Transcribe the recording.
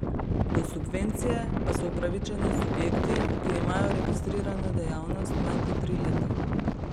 Do subvencije pa so upravičeni subjekti, ki imajo registrirano dejavnost manj kot tri leta.